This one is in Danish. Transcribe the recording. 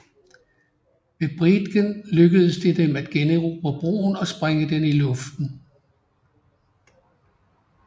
Ved Briedgen lykkedes det dem at generobre broen og sprænge den i luften